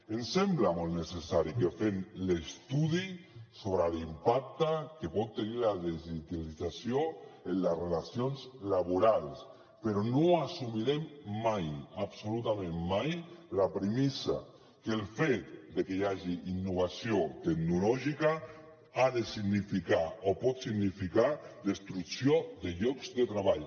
ens sembla molt necessari que fem l’estudi sobre l’impacte que pot tenir la digitalització en les relacions laborals però no assumirem mai absolutament mai la premissa que el fet de que hi hagi innovació tecnològica ha de significar o pot significar destrucció de llocs de treball